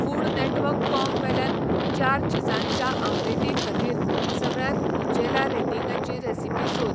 foodnetwork.com वेल्यान चार चीजांच्या ऑम्लेटीखातीर सगळ्यांत ऊंचेल्या रेटींगाची रॅसिपी सोद